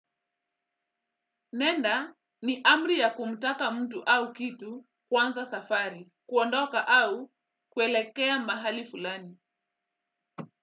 Nenda ni amri ya kumtaka mtu au kitu kuanza safari, kuondoka au kuelekea mahali fulani.